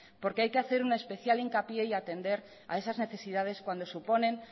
porque hay que hacer un especial hincapié y atender a esas necesidades cuando suponen